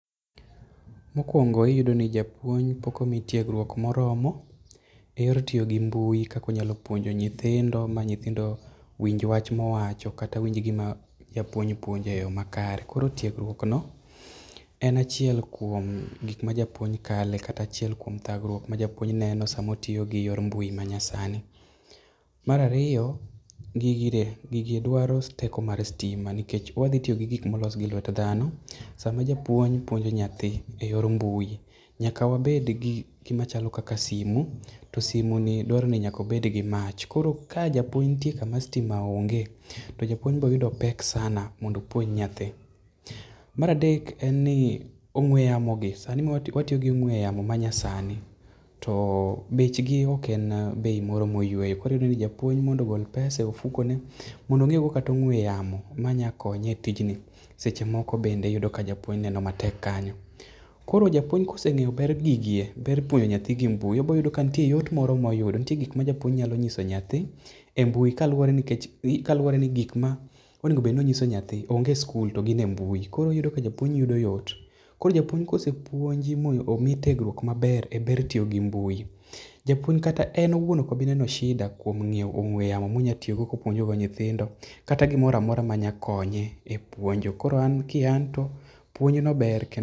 Mokuongo iyudo ni japuonj pok omi tiegruok moromo, eyor tiyo gi mbui kaka onyalo puonjo nyithindo winj wach ma owacho kata winj gima japuonj puonjo eyo makare. Koro tiegruokno en achiel kuom gik ma japuonj kale kata achiel kuom thagruok ma japuonj neno sama otiyo gi yor mbui ma nyasani. Mar ariyo gigi dwaro teko mar sitima nikech odhi tiyo gi gik molos gi lwet dhano. Sama japuonj puonjo nyathi eyor mbui, nyaka wabed gi gik machalo kaka simu to simu ni dwaro ni nyaa obed gi mach koro ka japuonj nitie kama sitima oonge to japuonj biro yudo pek sana mondo opuonj nyathi. Mar adek, en ni ong'ue yamogi sani ma watiyo gi ong'ue yamo ma nyasani to bechgi ok en bei moyueyo koro iyudo ni japuonj mondo ogol pese e ofukone mondo onyiewgo kata ong'ue yamo manyalo konye e tijni seche moko be ineno ka japuonj neno matek kanyo. Koro japuonj kose ng'eyo ber gigi, ber puonjo nyathi gi mbui obiro yudo kanitie yot moro moyudo nitie gik ma japuonj nyalo nyiso nyathi e mbui nkaluwore ni kaluwore ni gik monego bed ni onyiso nyathi, onge e sikul to gin e mbui koro oyudo ka japuonj yudo yot. Koro japuonj kosepuonji ma omi tiegruok maber eber tiyo gi mbui, japuonj kata en owuon ok obi neno sida kuom nyiewo ong'ue yamo mobiro puonjo go nyithindo kata gimoro amora ma nyalo konye epuonjo. Koro an kian to , puonj no ber kendo